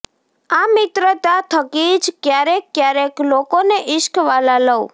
આ મિત્રતા થકી જ ક્યારેક ક્યારેક લોકોને ઇશ્ક વાલા લવ